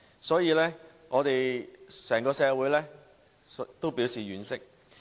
所以，整個社會也表示婉惜。